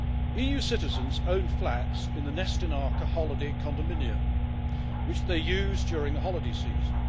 EU citizens own flats in the Nestinarka holiday condominium which they use during the holiday season.